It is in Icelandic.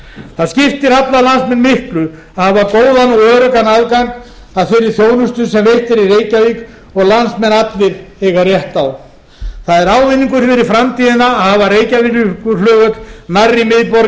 það skiptir alla landsmenn miklu að hafa góðan og öruggan aðgang að þeirri þjónustu sem veitt er í reykjavík og landsmenn allir eiga rétt á það er ávinningur fyrir framtíðina að hafa reykjavíkurflugvöll nærri miðborginni